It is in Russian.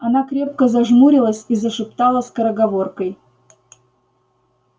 она крепко зажмурилась и зашептала скороговоркой